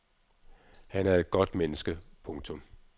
Han er et godt menneske. punktum